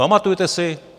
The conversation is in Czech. Pamatujete si?